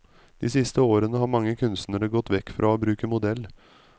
De siste årene har mange kunstnere gått vekk fra å bruke modell.